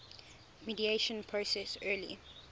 mediation process early